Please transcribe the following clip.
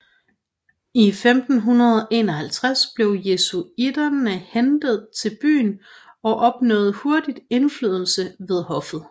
I 1551 blev jesuitterne hentet til byen og opnåede hurtigt indflydelse ved hoffet